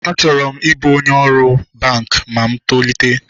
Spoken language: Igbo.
Achọrọ m ịbụ onye ọrụ banki ma mụ tolite